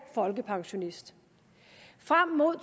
folkepensionist frem mod